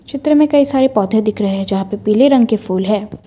चित्र में कई सारे पौधे दिख रहे हैं यहां पे पीले रंग के फूल है।